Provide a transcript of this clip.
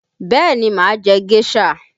Bẹẹ ni, máa jẹ géṣà